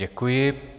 Děkuji.